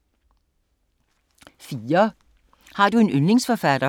4) Har du en yndlingsforfatter?